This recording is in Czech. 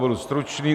Budu stručný.